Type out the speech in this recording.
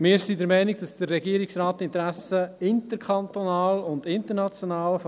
Wir sind der Meinung, dass der Regierungsrat die Interessen des Kantons Bern interkantonal und international